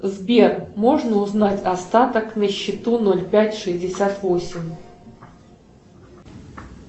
сбер можно узнать остаток на счету ноль пять шестьдесят восемь